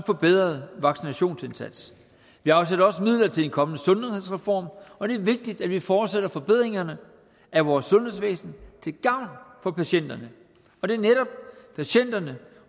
forbedret vaccinationsindsats vi afsætter også midler til en kommende sundhedsreform og det er vigtigt at vi fortsætter forbedringerne af vores sundhedsvæsen til gavn for patienterne og det er netop patienterne